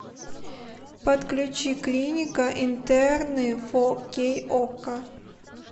подключи клиника интерны фо кей окко